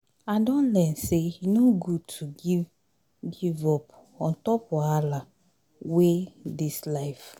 I don learn sey e no good to give give up on top wahala wey dis life.